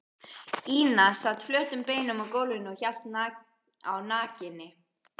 Ína sat flötum beinum á gólfinu og hélt á nakinni